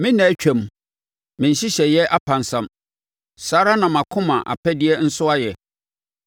Me nna atwam, me nhyehyɛeɛ apansam, saa ara na mʼakoma apɛdeɛ nso ayɛ.